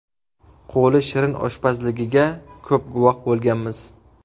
Qo‘li shirin oshpazligiga ko‘p guvoh bo‘lganmiz.